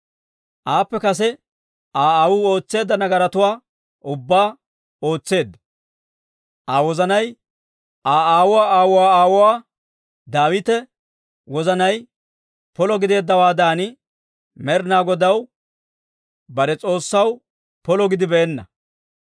Aappe kase Aa aawuu ootseedda nagaratuwaa ubbaa ootseedda; Aa wozanay Aa aawuwaa aawuwaa aawuwaa Daawita wozanay polo gideeddawaadan Med'inaa Godaw, bare S'oossaw polo gidibeenna.